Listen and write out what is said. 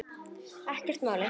Ekki málið.